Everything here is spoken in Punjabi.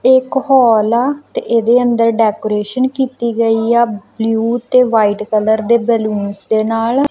ਇਕ ਹੋਲ ਆ ਤੇ ਇਹਦੇ ਅੰਦਰ ਡੈਕੋਰੇਸ਼ਨ ਕੀਤੀ ਗਈ ਆ ਬਲਿਊ ਤੇ ਵਾਈਟ ਕਲਰ ਦੇ ਬੈਲੂਨਸ ਦੇ ਨਾਲ।